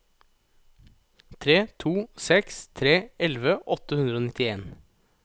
tre to seks tre elleve åtte hundre og nittien